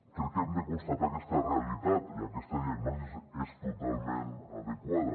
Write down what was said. crec que hem de constatar aquesta realitat i aquesta diagnosi és totalment adequada